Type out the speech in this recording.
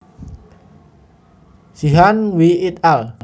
Sheehan W et al